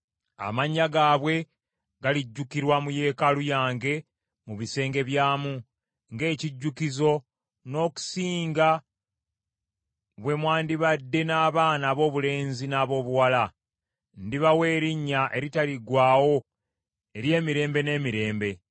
amannya gaabwe galijjukirwa mu yeekaalu yange mu bisenge byamu, ng’ekijjukizo n’okusinga bwe mwandibadde n’abaana aboobulenzi n’aboobuwala. Ndibawa erinnya eritaliggwaawo ery’emirembe n’emirembe.